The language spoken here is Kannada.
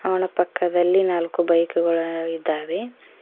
ಅವನ ಪಕ್ಕದಲ್ಲಿ ನಾಲ್ಕು ಬೈಕುಗಳು ಇದ್ದಾವೆ.